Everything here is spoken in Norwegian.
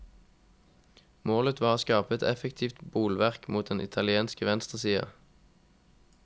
Målet var å skape et effektivt bolverk mot den italienske venstresida.